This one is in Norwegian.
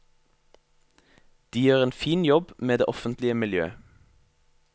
De gjør en fin jobb med det offentlige miljø.